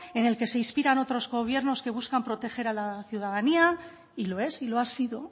en el que se inspiran otros gobiernos que buscan proteger a la ciudadanía y lo es y lo ha sido